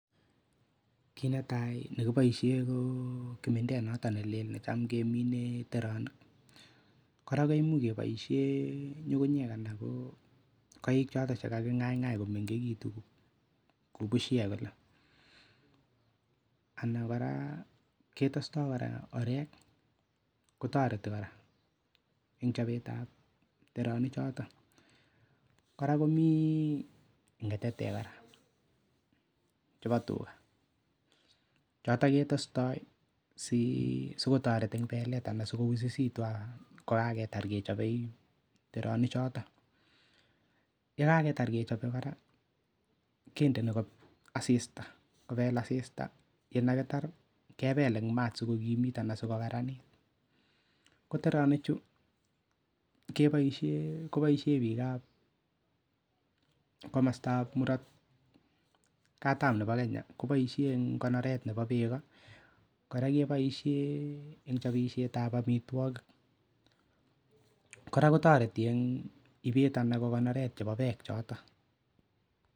Kit netai ne kiboishen ko kimindet noton nelel ne cham kemine en teronik. Kora kimuch keboiie ng'ung'unyek ana koik choton che kaging'aing'ai komengkitun kou bushek kole. Ana kora ketesto kora orek kotoreti kora en chobet ab teronik choto. Kora komi ng'atatek chebo tuga , choton ketestoi sikotoret en beket anan sikoususitu kogaketar kechobe teronik choto. Ye kagetar kechobe kora kinde kobel asisita en yekitar kebel en ma sikokimit anan sikokaranit ko ternik chu koboishen biik ab komostab murot katam nebo Kenya koboishe kogoneren beek ko. Kora keboisien en chobet ab amitwogik kora kotoreti en ibet ana konoret nebo beek.